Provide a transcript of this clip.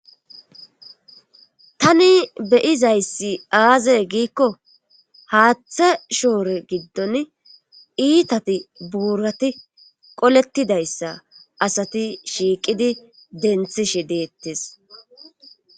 Tani be'izayssi aaze giiko haaththe shoore gidon iitati buurati qooletidayssa asati shiiqidi dentishe deetees.